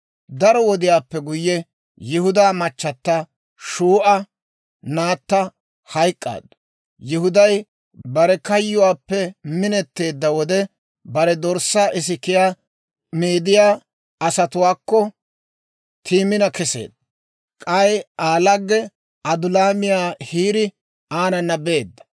Daro wodiyaappe guyye Yihudaa machata, Shuu'a naatta hayk'k'aaddu. Yihuday bare kayyuwaappe minetteedda wode, bare dorssaa isikiyaa meediyaa asatuwaakko Timina kesseedda; k'ay Aa lagge, Adulaamiyaa Hiiri aanana beedda.